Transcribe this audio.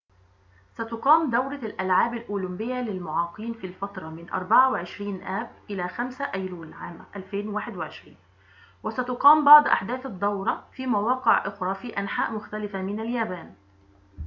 ستقام دورة الألعاب الأولمبية للمعاقين في الفترة من 24 آب إلى 5 أيلول عام 2021 وستقام بعض أحداث الدورة في مواقع أخرى في أنحاء مختلفة من اليابان